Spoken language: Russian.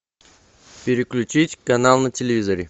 переключить канал на телевизоре